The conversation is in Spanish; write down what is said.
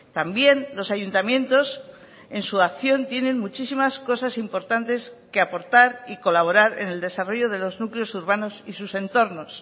también los ayuntamientos en su acción tienen muchísimas cosas importantes que aportar y colaborar en el desarrollo de los núcleos urbanos y sus entornos